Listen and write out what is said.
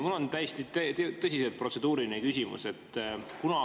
Mul on täiesti tõsiselt protseduuriline küsimus.